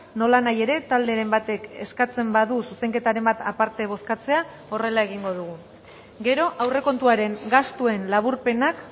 nolanahi ere talderen batek eskatzen badu zuzenketaren bat aparte bozkatzea horrela egingo dugu gero aurrekontuaren gastuen laburpenak